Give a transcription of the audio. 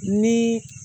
Ni